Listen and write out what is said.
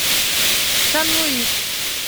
сан луис